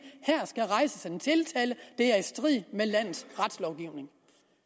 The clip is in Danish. her skal rejses en tiltale det er i strid med landets retslovgivning